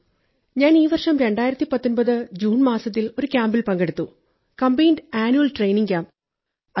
ഞാൻ ഈ വർഷം 2019 ജൂൺ മാസത്തിൽ ഒരു ക്യാമ്പിൽ പങ്കെടുത്തു കംബൈൻഡ് ആന്വൽ ട്രെയിനിംഗ് ക്യാമ്പ്